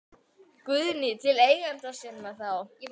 Guðný: Til eigenda sinna þá?